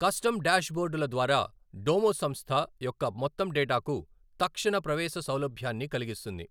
Custom డాష్బోర్డుల ద్వారా Domo సంస్థ యొక్క మొత్తం డేటాకు తక్షణ ప్రవేశసౌలభ్యాన్ని కలిగిస్తుంది.